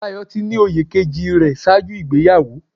Dayọ̀ ti ní oyè kejì rẹ̀ ṣáájú ìgbéyàwó.